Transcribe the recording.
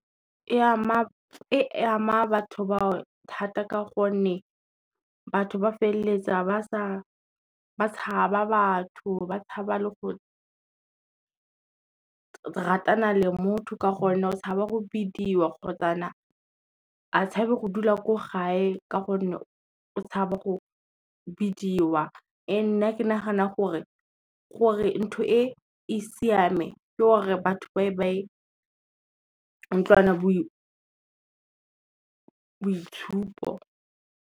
E ama batho bao thata ka gonne, batho ba feleletsa ba tshaba batho, ba tshaba le go ratana le motho ka gonne o tshaba go bidiwa kgotsana, a tshabe go dula ko gae ka gonne o tshaba go bidiwa. Ee nna ke nagana gore ntho e e siame ke gore batho boitshupo.